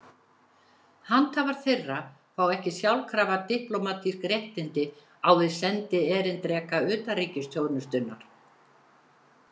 Handhafar þeirra fá ekki sjálfkrafa diplómatísk réttindi á við sendierindreka utanríkisþjónustunnar.